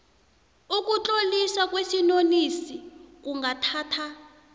ukutloliswa kwesinonisi kungathatha